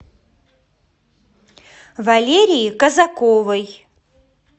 валерии казаковой